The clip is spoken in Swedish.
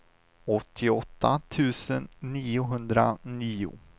åttioåtta tusen niohundranio